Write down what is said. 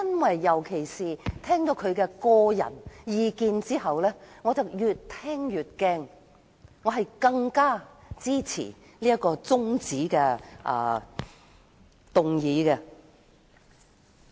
我聽到她的個人意見後，更是越聽越擔心，因而更加支持這項中止待續議案。